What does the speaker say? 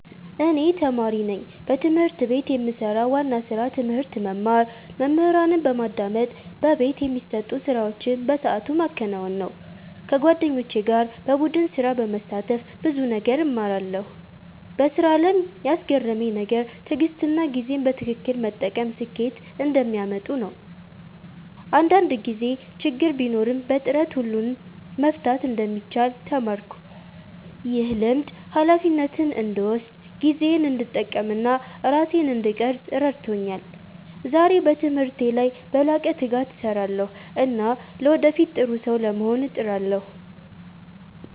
እኔ ተማሪ ነኝ። በትምህርት ቤት የምሰራው ዋና ስራ ትምህርት መማር፣ መምህራንን በማዳመጥ በቤት የሚሰጡ ስራዎችን በሰዓቱ ማከናወን ነው። ከጓደኞቼ ጋር በቡድን ስራ በመሳተፍ ብዙ ነገር እማራለሁ። በስራ አለም ያስገረመኝ ነገር ትዕግሥትና ጊዜን በትክክል መጠቀም ስኬት እንደሚያመጡ ነው። አንዳንድ ጊዜ ችግር ቢኖርም በጥረት ሁሉን መፍታት እንደሚቻል ተማርኩ። ይህ ልምድ ሃላፊነትን እንድወስድ፣ ጊዜዬን እንድጠቀም እና ራሴን እንድቀርፅ ረድቶኛል። ዛሬ በትምህርቴ ላይ በላቀ ትጋት እሰራለሁ እና ለወደፊት ጥሩ ሰው ለመሆን እጥራለሁ።